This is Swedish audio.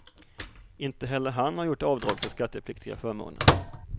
Inte heller han har gjort avdrag för skattepliktiga förmåner.